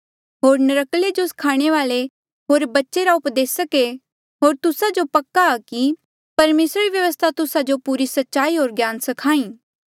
होर नर्क्कले जो स्खाणे वाले होर बच्चे रा उपदेसक ऐें होर तुस्सा जो पक्का कि परमेसरा री व्यवस्था तुस्सा जो पूरी सच्चाई होर ज्ञान सिखाई